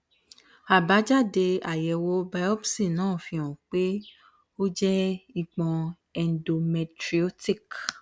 abájáde àyẹwò biopsi náà fi hàn pé ó jẹ ìpọn endometriotic